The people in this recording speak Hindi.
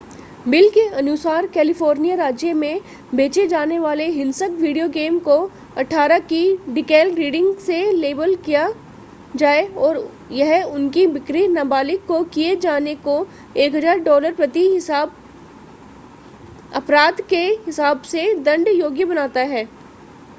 बिल के अनुसार कैलिफोर्निया राज्य में बेचे जाने वाले हिंसक वीडियो गेम को 18 की डीकैल रीडिंग से लेबल किया जाए और यह उनकी बिक्री नाबालिग को किए जाने को 1000 डॉलर प्रति अपराध के हिसाब से दंड योग्य बनाता है